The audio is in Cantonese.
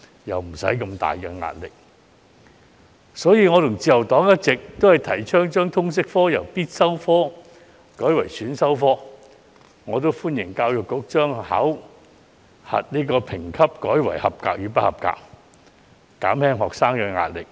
因此，我和自由黨一直提倡將通識科由必修科改為選修科，亦歡迎教育局將考核評級改為"及格"與"不及格"，以減輕學生的壓力。